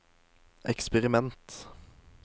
eksperiment